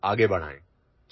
Jai Hind